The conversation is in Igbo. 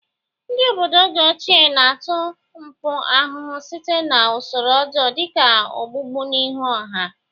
Ndị obodo oge ochie na ata mpụ ahụhụ site na usoro ọjọọ dị ka ogbugbu n'ihu ọha.